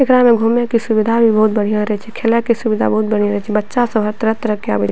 एकरा में घूमे के सुविधा भी बहुत बढ़िया रहे छे खेले के सुविधा बहुत बढ़िया रहे छे बच्चा सब हर तरह-तरह के आवे --